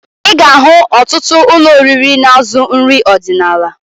Ị ga-ahụ otụtụ ụlọ oriri na-azụ nrị ọdịnaala